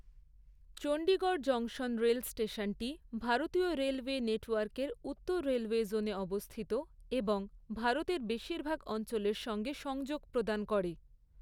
Chandigarh junction rail স্টেশনটি ভারতীয় railway নেটওয়ার্কের উত্তর রেলওয়ে জোনে অবস্থিত এবং ভারতের বেশিরভাগ অঞ্চলের সঙ্গে সংযোগ প্রদান করে।